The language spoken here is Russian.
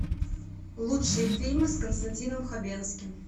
лучшие фильмы с константином хабенским